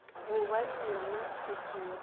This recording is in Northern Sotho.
gobane ke yona tshepo ya